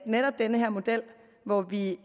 netop den her model hvor vi